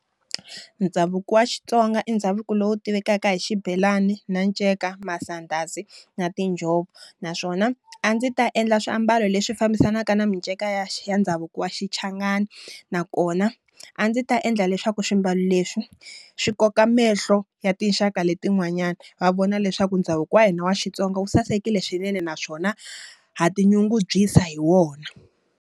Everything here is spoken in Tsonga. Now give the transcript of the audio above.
Ndhavuko wa xitsonga i ndhavuko lowu tivekaka hi xibelani, na nceka, masandhazi na tinjhovo naswona a ndzi ta endla swiambalo leswi fambisanaka na minceka ya ndhavuko wa xichangani. Nakona a ndzi ta endla leswaku swimbalo leswi, swi koka mahlo ya tinxaka letin'wanyani. Va vona leswaku ndhavuko wa hina wa Xitsonga wu sasekile swinene naswona ha ti nyungubyisa hi wona.